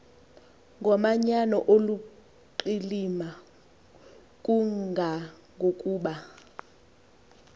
ngomanyano oluqilima kangangokuba